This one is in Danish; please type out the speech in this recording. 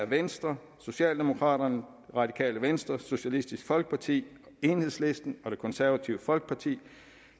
venstre socialdemokraterne det radikale venstre socialistisk folkeparti enhedslisten og det konservative folkeparti